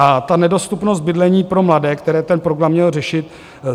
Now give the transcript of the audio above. A ta nedostupnost bydlení pro mladé, které ten program měl řešit.